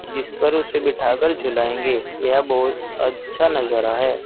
जिस पर उसे बिठाकर झुलायेंगे यह बहुत अच्छा नजारा है।